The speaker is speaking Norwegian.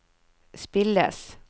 spilles